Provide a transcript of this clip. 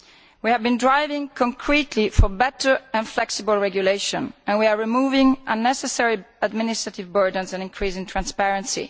We have been pressing hard for better, more flexible regulation, and we are removing unnecessary administrative burdens and increasing transparency.